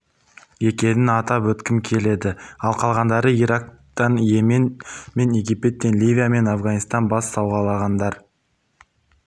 екенін атап өткім келеді ал қалғандары ирактан йемен мен египеттен ливия мен афганистаннан бас сауғалағандар